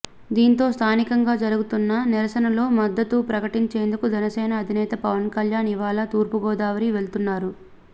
దీంతో స్ధానికంగా జరుగుతున్న నిరసనలకు మద్దతు ప్రకటించేందుకు జనసేన అధినేత పవన్ కళ్యాణ్ ఇవాళ తూర్పుగోదావరి వెళ్లనున్నారు